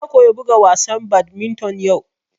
Na koya buga wasa badminton yau